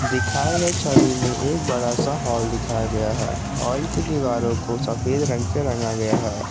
दिखाए गए छवि में एक बड़ा सा हॉल दिखाया गया है हॉल की दीवारों को सफेद रंग से रंगा गया है।